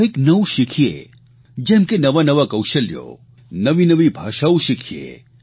કંઇક નવું શીખીએ જેમ કે નવા નવા કૌશલ્યો નવી નવી ભાષાઓ શીખીએ